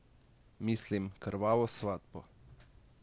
Mislim, Krvavo svatbo.